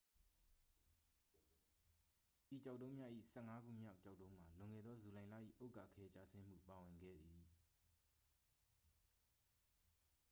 ဤကျောက်တုံးများ၏ ဆယ့်ငါးခုမြောက် ကျောက်တုံးမှာ လွန်ခဲ့သော ဇူလိုင်လ၏ ဥက္ကာခဲကျဆင်းမှု ပါဝင်ခဲ့သည်